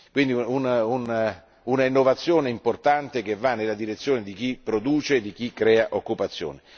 Si tratta di un'innovazione importante, che va nella direzione di chi produce e di chi crea occupazione.